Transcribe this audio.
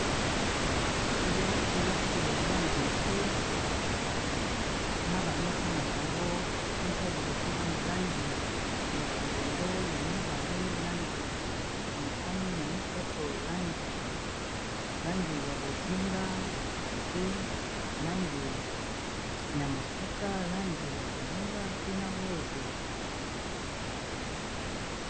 Kelasi ya bana mike na ba mesa na bango mesa liboso eza na langi ya longondo, ya mibale langi ya motane, ya misato langi ya bozinga, ba kiti pe langi ya mosaka, langi ya bozinga pe na rose.